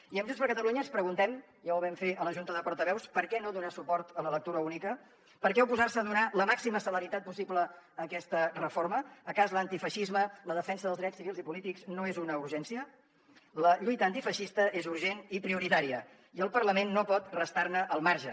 i amb junts per catalunya ens preguntem ja ho vam fer a la junta de portaveus per què no donar suport a la lectura única per què oposar se a donar la màxima celeritat possible a aquesta reforma és que l’antifeixisme la defensa dels drets civils i polítics no és una urgència la lluita antifeixista és urgent i prioritària i el parlament no pot restar ne al marge